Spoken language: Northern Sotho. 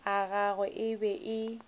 a gagwe e be e